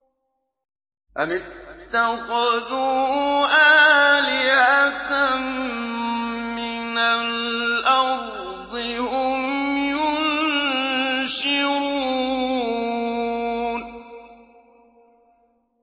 أَمِ اتَّخَذُوا آلِهَةً مِّنَ الْأَرْضِ هُمْ يُنشِرُونَ